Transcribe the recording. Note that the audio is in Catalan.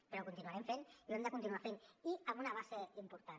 però ho continuarem fent i ho hem de continuar fent i amb una base important